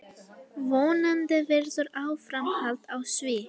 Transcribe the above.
Vonandi verður áframhald á því.